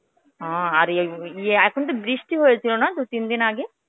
ও আর এই ইয়ে এখন তো বৃষ্টি হয়েছিল না দুই তিনদিন আগে.